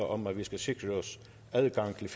om at vi skal sikre os adgang til